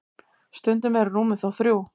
stundum eru rúmin þó þrjú